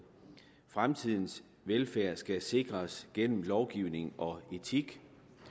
fremtidens velfærd skal sikres gennem lovgivning og etik